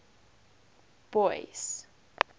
boyce